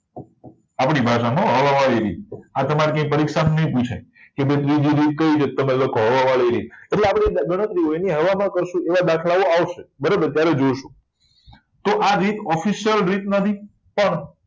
આપડી ભાષા માં હવા વાળી રીત આ તમ્રે કઈ પરીક્ષા માં નહી પુછાય કે ભાઈ બીજી રીત કઈ તો લખો હવા વાળી રીત એટલે આ બધી ગણતરીઓ હવા માં કરશો એવા દાખલાઓ આવશે બરાબર ત્યારે જોઈશું તો આ રીત official રીત નથી પણ